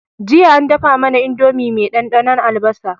Jiya an dafa mAna indomie me dan dannon albasa